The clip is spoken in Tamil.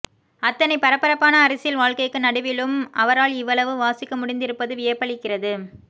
அத்தனை பரபரப்பான அரசியல் வாழ்க்கைக்கு நடுவிலும் அவரால் இவ்வளவு வாசிக்க முடிந்திருப்பது வியப்பளிக்கிறது